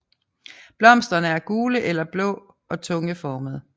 Blomsterne er gule eller blå og tungeformede